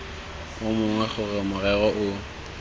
o mongwe gore morero o